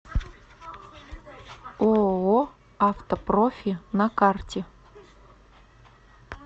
ооо автопрофи на карте